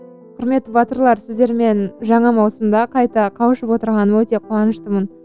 құрметті батырлар сіздермен жаңа маусымда қайта қауышып отырғаныма өте қуаныштымын